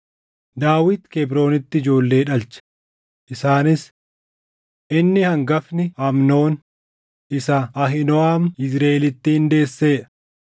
Daawit Kebroonitti ijoollee dhalche; isaanis: Inni hangafni Amnoon isa Ahiinooʼam Yizriʼeelittiin deessee dha;